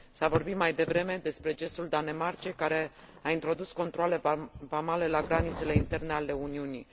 S a vorbit mai devreme despre gestul Danemarcei, care a introdus controale vamale la granițele interne ale Uniunii.